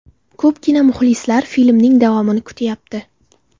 Ko‘pgina muxlislar filmning davomini kutyapti.